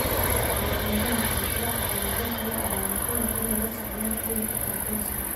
Calaamadaha kale Tiro calaamado kale ah ayaa laga yaabaa inay la socdaan cudurka Parkinson.